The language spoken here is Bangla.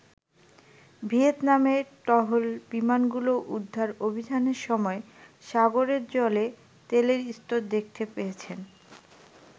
ভিয়েতনামের টহল বিমানগুলো উদ্ধার অভিযানের সময় সাগরের জলে তেলের স্তর দেখতে পেয়েছেন।